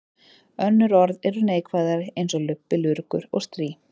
Önnur orð eru neikvæðari eins og lubbi, lurgur og strý.